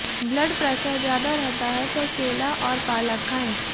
blood pressure ज्यादा रहता है तो केला और पालक खायें